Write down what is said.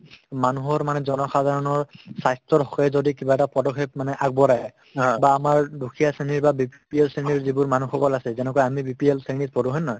মানুহৰ মানে জনসাধৰণৰ স্বাস্থ্যৰ হকে যদি কিবা এটা পদক্ষেপ মানে আগবঢ়াই বা আমাৰ দুখীয়া শ্ৰেণীৰ বা BPL শ্ৰেণীৰ যিবোৰ মানুহসকল আছে যেনেকুৱা আমি BPL শ্ৰেণীত পৰো হয়নে নহয়